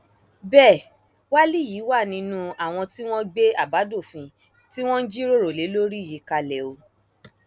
bẹẹ wálí yìí wà nínú àwọn tí wọn gbé àbádòfin tí wọn ń jíròrò lé lórí yìí kalẹ o